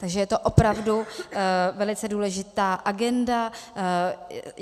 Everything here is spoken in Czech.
Takže je to opravdu velice důležitá agenda.